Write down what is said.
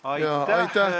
Aitäh!